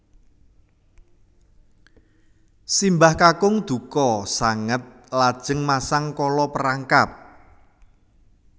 Simbah kakung dukha sanget lajeng masang kala perangkap